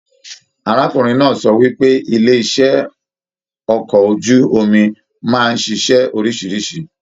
Arákùnrin náà sọ wípé ilé iṣẹ okọ̀ ojú omi máa n ṣiṣẹ oríṣiríṣi.